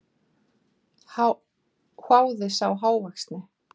hváði sá hávaxni.